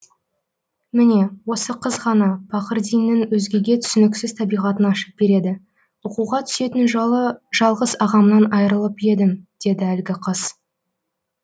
міне осы қыз ғана пақырдиннің өзгеге түсініксіз табиғатын ашып береді оқуға түсетін жылы жалғыз ағамнан айрылып едім деді әлгі қыз